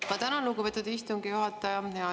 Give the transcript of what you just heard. Ma tänan, lugupeetud istungi juhataja!